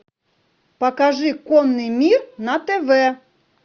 покажи конный мир на тв